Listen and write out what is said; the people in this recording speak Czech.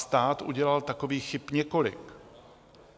Stát udělal takových chyb několik.